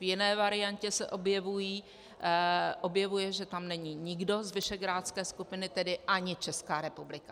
V jiné variantě se objevuje, že tam není nikdo z visegrádské skupiny, tedy ani České republika.